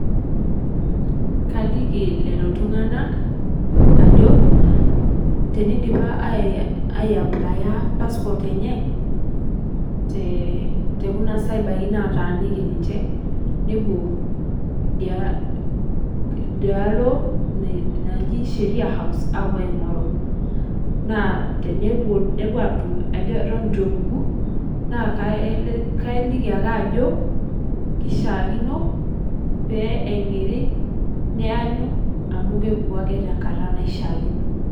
Kaliiki lelo ltung'anak ajoo tenedipaa aiyapulaya passport enye te te kuna cyerbaii nataaniki ninchee nepoo dia dia aloo najii sheria house apoo aing'oruu. Naa tenepoo nepoo atuum atoon etupukuu naa kaliiki ake ajoo keishakino pee ang'irii neayuu amu kepukuu ake te nkaata neshaakino.